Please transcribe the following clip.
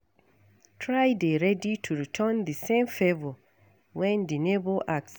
Try dey ready to return di same favour when di neigbour ask